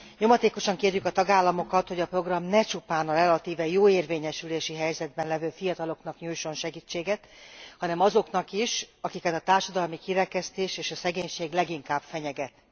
Nyomatékosan kérjük a tagállamokat, hogy a program ne csupán a relatíve jó érvényesülési helyzetben lévő fiataloknak nyújtson segítséget, hanem azoknak is, akiket a társadalmi kirekesztés és a szegénység leginkább fenyeget.